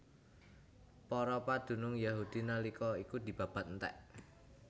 Para padunung Yahudi nalika iku dibabat entèk